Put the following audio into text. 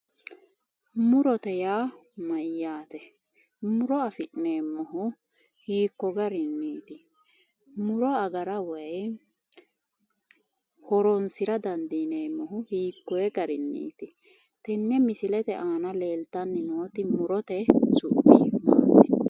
Murote yaa mayyaate? Muro afi'neemmohu hiikko garinniiti? Muro agara woyi horonsira dandineemmohu hiikkunni garinniiti tenne Misilete aana leeltanni nooti su'mi Maati?